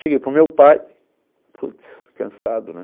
Cheguei para o meu pai, putz, cansado, né?